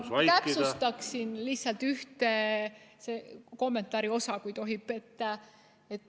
Ma täpsustaksin lihtsalt ühte kommentaari osa, kui tohib.